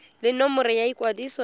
le nomoro ya ikwadiso ya